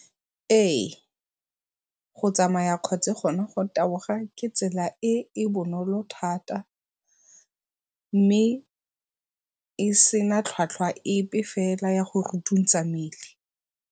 Ee, go tsamaya kgotsa gone go taboga ke tsela e e bonolo thata mme, e sena tlhwatlhwa epe fela ya go mmele.